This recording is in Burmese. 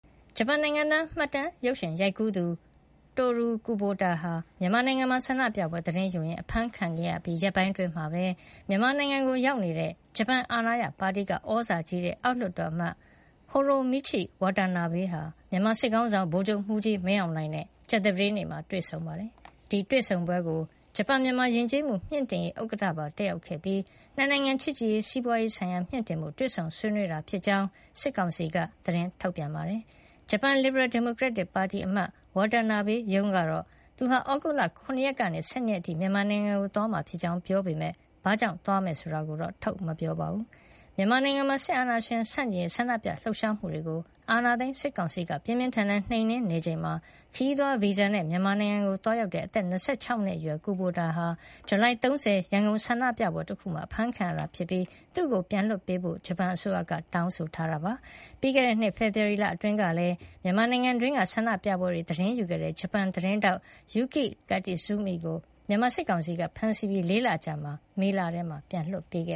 ဂျပန်နိုင်ငံသား မှတ်တမ်းရုပ်ရှင်ရိုက်ကူးသူ Toru Kubota မြန်မာနိုင်ငံမှာ ဆန္ဒပြပွဲသတင်းယူရင်း အဖမ်းခံခဲ့ရပြီး ရက်ပိုင်းအတွင်းမှာပဲ မြန်မာနိုင်ငံကိုရောက်နေတဲ့ ဂျပန်အာဏာရပါတီက သြဇာကြီးတဲ့ အောက်လွှတ်တော် အမတ် Hiromichi Watanabe ဟာ မြန်မာစစ်ခေါင်းဆောင် ဗိုလ်ချုပ်မှူးကြီး မင်းအောင်လှိုင်နဲ့ ကြာသပတေးနေ့က တွေ့ဆုံခဲ့ပါတယ်။ ဒီတွေ့ဆုံပွဲကို ဂျပန်- မြန်မာ ယဉ်ကျေးမှုမြှင့်တင်ရေး ဥက္ကဋ္ဌပါ တက်ရောက်ခဲ့ပြီး ၂ နိုင်ငံ ချစ်ကြည်ရေး၊ စီးပွါးရေးဆိုင်ရာမြှင့်တင်ဖို့ တွေ့ဆုံဆွေးနွေးတာဖြစ်ကြောင်း စစ်ကောင်စီက သတင်းထုတ်ပြန်ပါတယ်။ ဂျပန် လစ်ဘရယ်ဒီမိုကရက်တစ်ပါတီ အမတ် Wantanabe ရုံးကတော့ သူဟာ သြဂုတ်လ ၇ ရက်ကနေ ၁၂ ရက်အထိ မြန်မာနိုင်ငံကိုသွားရောက်မှာ ဖြစ်ကြောင်း ပြောပေမယ့် ဘာကြောင့် သွားတယ်ဆိုတာကိုတော့ ထုတ်မပြောပါဘူး။ မြန်မာနိုင်ငံမှာ စစ်အာဏာရှင်ဆန့်ကျင်ရေး ဆန္ဒပြလှုပ်ရှားမှုတွေကို အာဏာသိမ်းစစ်ကောင်စီက ပြင်းပြင်းထန်ထန် နှိမ်နင်းနေချိန်မှာ ခရီးသွားဗီဇာနဲ့ မြန်မာနိုင်ငံကို သွားရောက်ခဲ့တဲ့ အသက် ၂၆ နှစ်အရွယ် Toru Kubota ဟာ ဇူလိုင်လ ၃၀ ရန်ကုန်ဆန္ဒပြပွဲ တခုမှာ အဖမ်းခံခဲ့ရတာ ဖြစ်ပြီး သူ့ကိုပြန်လွှတ်ပေးဖို့ ဂျပန်အစိုးရက တောင်းဆိုထားပါတယ်။ ပြီးခဲ့တဲ့နှစ် ဖေဖော်ဝါရီလအတွင်းကလည်း မြန်မာနိုင်ငံအတွင်းက ဆန္ဒပြပွဲတွေကို သတင်းယူခဲ့တဲ့ ဂျပန်သတင်းထောက် Yuki Kitazumi ကို မြန်မာစစ်ကောင်စီက ဖမ်းဆီးခဲ့ပြီး ၄ လ အကြာ မေလမှာ ပြန်လွှတ်ပေးခ